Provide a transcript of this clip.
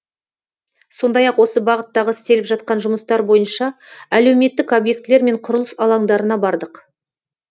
сондай ақ осы бағыттағы істеліп жатқан жұмыстар бойынша әлеуметтік объектілер мен құрылыс алаңдарына бардық